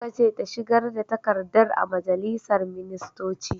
Aka ce ta shigar da takardar a majalisar ministoci!